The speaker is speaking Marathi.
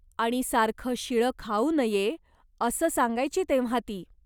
आणि सारखं शिळ खाऊ नये असं सांगायची तेव्हा ती.